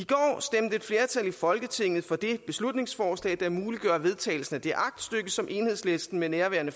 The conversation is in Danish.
folketinget for det beslutningsforslag der muliggør vedtagelsen af det aktstykke som enhedslisten med nærværende